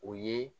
O ye